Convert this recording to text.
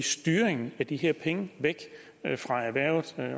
styringen af de her penge væk fra erhvervet